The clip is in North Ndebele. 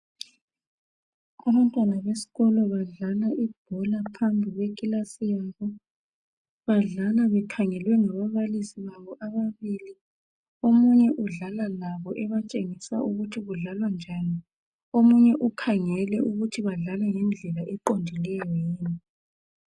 Abantwana besikolo badlala ibhola phambi kwe class yabo . Badlala bekhangelwe ngababalisi babo ababili. Omunye udlala labo ebatshengisa ukuthi kudlalwa njani. Omunye ukhangele ukuthi badlala ngendlela eqondileyo yini.